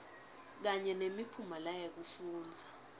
kanye nemiphumela yekufundza